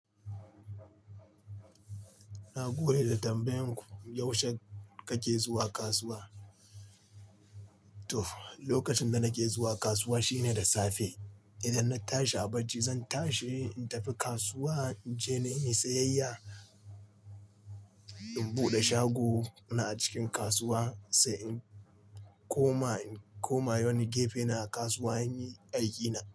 Na gode da tambayan ku. Yaushe kake zuwa kasuwa? To, lokacin da nake zuwa kasuwa shine da safe. Idan na tashi a bacci, zan tashi in tafi kasuwa in je na yi sayayya, in buɗe shago na a cikin kasuwa sai in koma, in koma wani gefe na kasuwa in yi aikina.